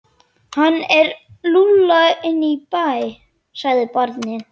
Hann er lúlla inn í bæ, sagði barnið.